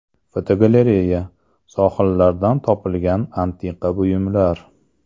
Fotogalereya: Sohillardan topilgan antiqa buyumlar.